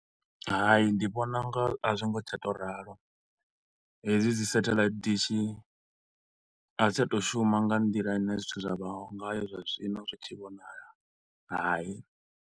Hai, ndi vhona unga a zwo ngo tsha tou ralo hedzi dzi satellite dishi a dzi tsha to u shuma nga nḓila ine zwithu zwa vha ngayo zwa zwino zwi tshi vhonala hai.